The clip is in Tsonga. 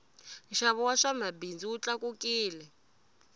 nxavo wa swa mabindzu wu tlakukile